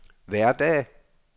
hverdag